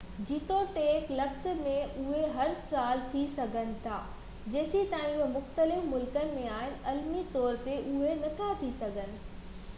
جيتوڻيڪ لکت ۾ اهي هر سال ٿي سگهن ٿا جيستائين اهي مختلف ملڪن ۾ آهن، عملي طور تي اهي نٿا ٿي سگهن